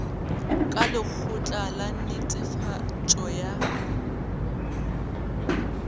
ka lekgotla la netefatšo ya